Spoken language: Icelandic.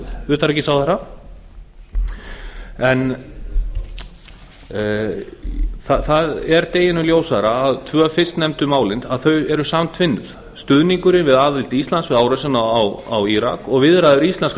utanríkisráðherra það er deginum ljósara að tvö fyrstnefndu málin eru samtvinnuð stuðningurinn við aðild íslands við árásina á írak og viðræður íslenskra